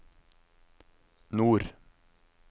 nord